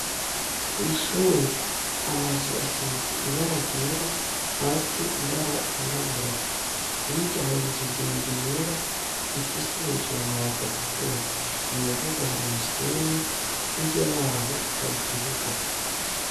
Kw'ishure amazu asisitse ibara ryera hasi ibara ryirabura yirya haye inzu ndende yera ifise hejuru amabata atukura mu mbuga hari umusenyi hirya yaho hari ikibuga.